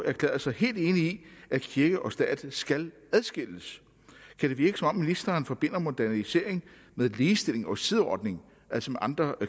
erklærede sig helt enig i at kirke og stat skal adskilles kan det virke som om ministeren forbinder modernisering med ligestilling og sideordning altså med andre